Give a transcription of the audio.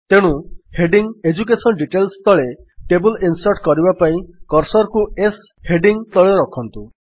ତେଣୁ heading education details ତଳେ table insert କରିବା ପାଇଁ କର୍ସର୍ କୁ S ହେଡିଙ୍ଗ୍ ତଳେ ରଖନ୍ତୁ